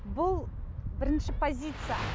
бұл бірінші позиция